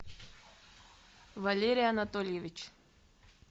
валерий анатольевич